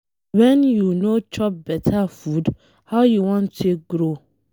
Wen you no chop beta food, how you wan take grow?